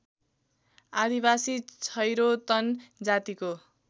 आदिवासी छैरोतन जातिको